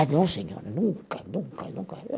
Ah, não, senhora, nunca, nunca, nunca.